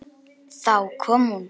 Þá kom hún.